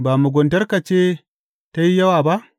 Ba muguntarka ce ta yi yawa ba?